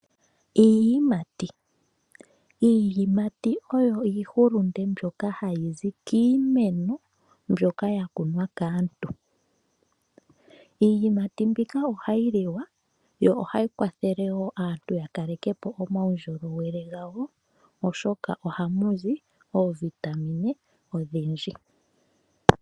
Iiyimati, iiyimati oyo iihulunde mbyoka hayi zi kiimeno mbyoka ya kunwa kaantu. Iiyimati mbika ohayi liwa yo ohayi kwathele wo aantu ya kaleke po omaundjolowele gawo, oshoka ohamu zi oovitamine odhindji.